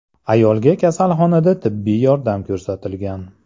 Ayolga kasalxonada tibbiy yordam ko‘rsatilgan.